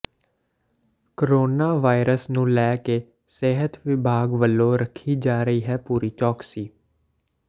corona virus ਨੂੰ ਲੈ ਕੇ ਸਿਹਤ ਵਿਭਾਗ ਵਲੋਂ ਰੱਖੀ ਜਾ ਰਹੀ ਹੈ ਪੂਰੀ ਚੌਕਸੀ